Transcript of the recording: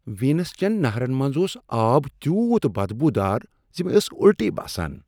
Venice چیٚن نہرن منز اوس آب تیوٗت بدبو دار ز مےٚ ٲس الٹی باسان۔